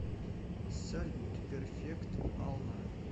салют перфект алма